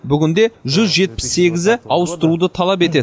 бүгінде жүз жетпіс сегізі ауыстыруды талап етеді